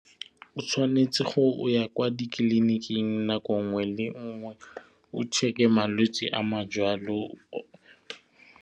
O tshwanetse go ya kwa ditleliniking nako ngwe le ngwe o check-e malwetse a majwalo.